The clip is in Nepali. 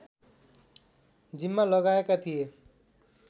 जिम्मा लगाएका थिए